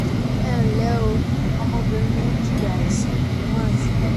ẹ ǹlẹ́ o ọmọbìnrin mi ń jìyà àìsàn imú àti ibà